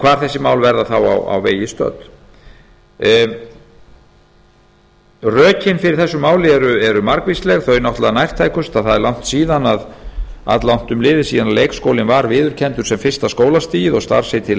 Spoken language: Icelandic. hvar þessi mál verða þá á vegi stödd rökin fyrir þessu máli eru margvísleg þau náttúrlega nærtækustu að það er alllangt um liðið síðan leikskólinn var viðurkenndur sem fyrsta skólastigið og starfsheitið leikskólakennari